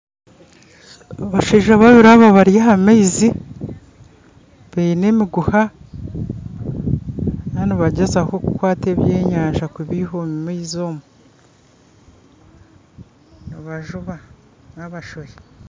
Abashaija babiri aba bari ah'amaizi baine emiguuha bariyo nibagyezaho kukwata ebyenyanja kubiiha omu maizi omu nibajuba na abashohi